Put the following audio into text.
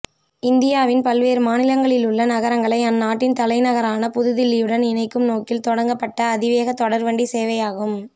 இந்தியாவின் பல்வேறு மாநிலங்களிலுள்ள நகரங்களை அந்நாட்டின் தலைநகரான புது தில்லியுடன் இணைக்கும் நோக்கில் தொடங்கப்பட்ட அதிவேகத் தொடர்வண்டிச் சேவையாகும்